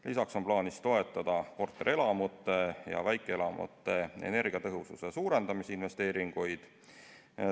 Lisaks on plaanis toetada korterelamute ja väikeelamute energiatõhususe suurendamise investeeringuid.